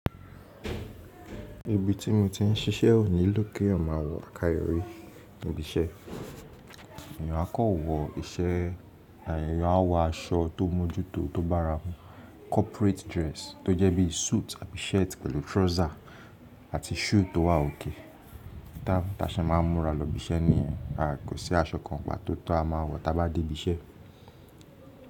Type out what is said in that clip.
Ibi tí mo ti ń ṣiṣẹ́ ò nílò kí eeyan maà wọ̀ àkáyòrí lobi iṣẹ́. Èèyàn á kan wọ iṣẹ́ eeyan á wọ aṣọ tó mójútó tó bára wọn corporate dress tó jẹ́ bí suit àbi shirt pẹ̀lú trouser àti shoe tó wà òkay Ta táṣẹ́ máa ń múra lọ ibi iṣẹ́ nìyẹn. Kò sí aṣọ kan pató ti a máa wọ̀ tá bá dé ibi iṣẹ́.